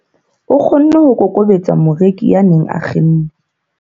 o kgonne ho kokobetsa moreki ya neng a kgenne